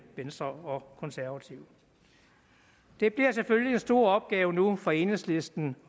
venstre og konservative det bliver selvfølgelig en stor opgave nu for enhedslisten